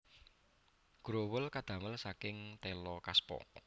Growol kadamel saking téla kaspa